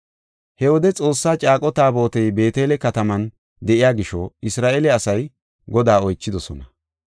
He wode Xoossaa caaqo Taabotey Beetele kataman de7iya gisho Isra7eele asay Godaa oychidosona.